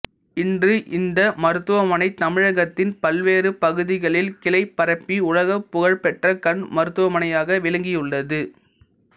இன்று இந்த மருத்துவமனை தமிழகத்தின் பல்வேறு பகுதிகளில் கிளை பரப்பி உலகப் புகழ்பெற்ற கண் மருத்துவமனையாக விளங்கியுள்ளது